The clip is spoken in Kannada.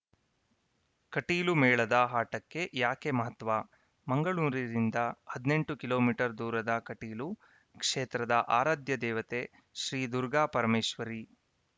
ಕಟೀಲುಮೇಳದ ಆಟಕ್ಕೆ ಯಾಕೆ ಮಹತ್ವ ಮಂಗಳೂರಿನಿಂದ ಹದಿನೆಂಟು ಕಿಲೋಮೀಟರ್‌ ದೂರದ ಕಟೀಲು ಕ್ಷೇತ್ರದ ಆರಾಧ್ಯ ದೇವತೆ ಶ್ರೀ ದುರ್ಗಾಪರಮೇಶ್ವರಿ